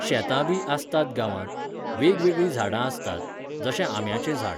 शेतां बी आसतात गांवांत, वेगवेगळी झाडां आसतात, जशें आंब्याचें झाड.